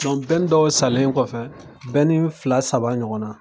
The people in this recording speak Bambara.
dɔw salen kɔfɛ, fila, saba ɲɔgɔn na.